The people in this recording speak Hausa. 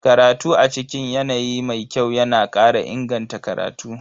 Karatu a cikin yanayi mai kyau yana kara inganta karatu.